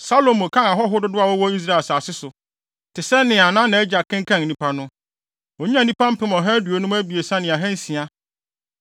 Salomo kan ahɔho dodow a wɔwɔ Israel asase so, te sɛ nea nʼagya kenkan nnipa no. Onyaa nnipa mpem ɔha aduonum abiɛsa ne ahansia (153,600).